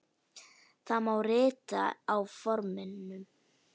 Það má rita á forminu